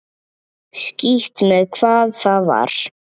Skítt með hvað það var.